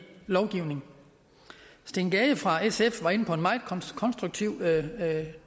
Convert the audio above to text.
lovgivning steen gade fra sf førte en meget konstruktiv